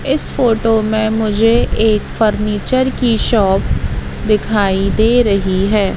इस फोटो में मुझे एक फर्नीचर की शॉप दिखाई दे रही है।